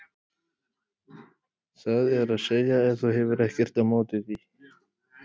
það er að segja ef þú hefur ekkert á móti því.